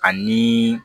Ani